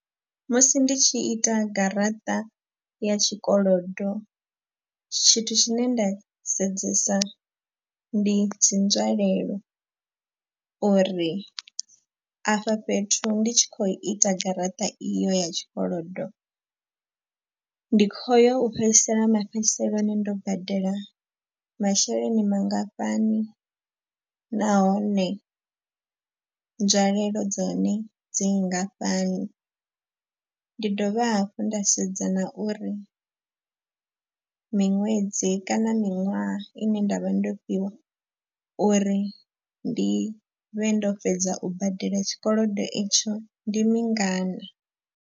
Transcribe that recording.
Musi ndi tshi ita garaṱa ya tshikolodo tshithu tshine nda sedzesa ndi dzi nzwalelo. Uri afha fhethu ndi tshi khou ita garaṱa iyo ya tshikolodo, ndi khoyo u fhedzisela mafhedziseloni ndo badela masheleni mangafhani. Nahone nzwalelo dza hone dzi nngafhani ndi dovha hafhu nda sedza na uri miṅwedzi kana miṅwaha ine nda vha ndo fhiwa uri ndi vhe ndo fhedza u badela tshikolodo itsho ndi mingana.